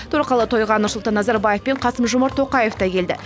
торқалы тойға нұрсұлтан назарбаев пен қасым жомарт тоқаев та келді